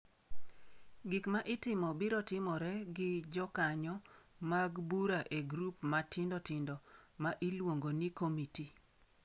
Gik ma itimo biro timore gi jokanyo mag bura e grup matindo tindo, ma iluongo ni komiti.